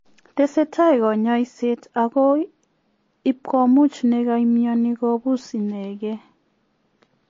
Tesetai kanyaiseet agoi ipkomuuch nekamionii kopuus ineegee